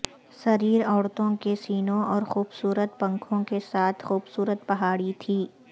سریر عورتوں کے سینوں اور خوبصورت پنکھوں کے ساتھ خوبصورت پہاڑی تھی